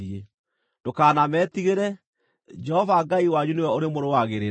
Ndũkanametigĩre; Jehova Ngai wanyu nĩwe ũrĩmũrũagĩrĩra.”